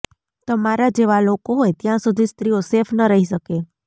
તમારા જેવા લોકો હોય ત્યાં સુધી સ્ત્રીઓ સેફ ન રહી શકે